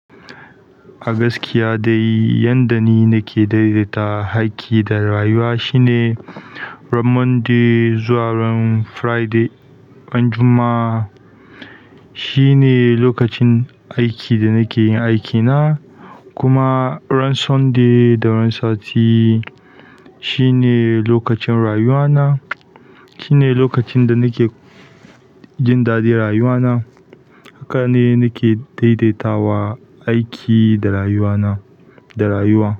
A gaskiya dai, yanda ni na ke daidaita aiki da rayuwa shine ran Monday zuwa ran Friday, ran Juma'a shine lokacin aiki da na ke yin aikina. Kuma ran Sunday da ran sati shine lokacin rayuwana, shine lokacin da na ke jin daɗin rayuwana. Haka ne na ke daidaitawa aiki da rayuwana, da rayuwa.